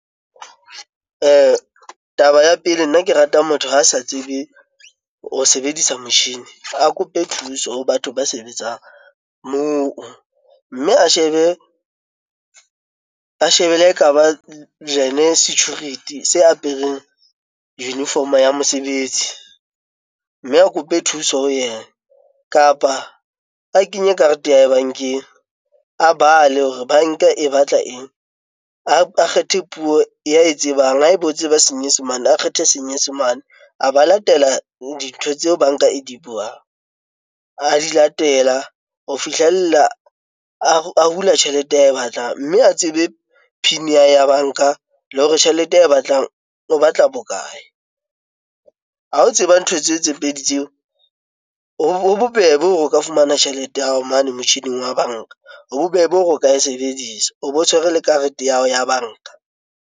Taba ya pele, nna ke rata motho ha a sa tsebe ho sebedisa metjhini a kope thuso ho batho ba sebetsang moo. Mme a shebe, ba ekaba security se apereng uniform-o ya mosebetsi, mme a kope thuso ho yena. Kapa a kenye karete ya hae bank-eng, a bale hore banka e batla eng? a kgethe puo ya e tsebang. Ha ebe o tseba senyesemane, a kgethe senyesemane a ba latela dintho tseo banka e di buang. A di latela ho fihlella a hula tjhelete ae batlang. Mme a tsebe PIN ya hae ya banka le hore tjhelete ae batlang, o batla bokae? Ha o tseba ntho tseo tse pedi tseo, ho bobebe hore o ka fumana tjhelete ya hao mane motjhining wa banka. Ho bobebe hore o ka e sebedisa, o bo tshwere le karete ya hao ya banka.